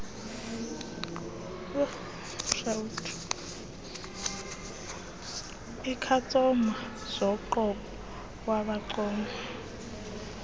ikhastoma zoqobo wabacela